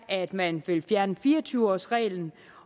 at man fjerner fire og tyve års reglen